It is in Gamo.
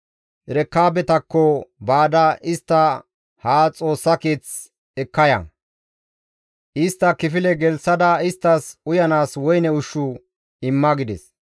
«Erekaabetakko baada istta haa Xoossa keeth ekka ya; istta kifile gelththada isttas uyanaas woyne ushshu imma» gides.